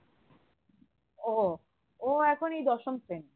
ও ও এখন এই দশম শ্রেণী